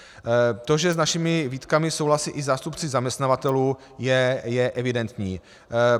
To, že s našimi výtkami souhlasí i zástupci zaměstnavatelů, je evidentní.